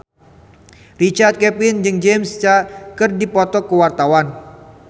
Richard Kevin jeung James Caan keur dipoto ku wartawan